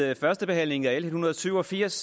ved førstebehandlingen af l en hundrede og syv og firs